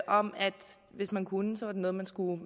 om at hvis man kunne så var det noget man skulle